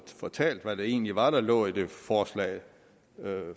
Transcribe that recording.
fortalt hvad det egentlig var der lå i det forslag